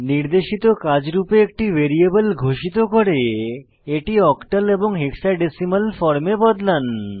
নির্দেশিত কাজ রূপে একটি ভ্যারিয়েবল ঘোষিত করে এটি অক্টাল এবং হেক্সাডেসিমাল ফর্মে বদলান